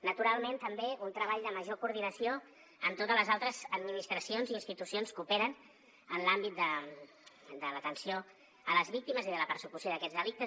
naturalment també un treball de major coordinació amb totes les altres administracions i institucions que operen en l’àmbit de l’atenció a les víctimes i de la persecució d’aquests delictes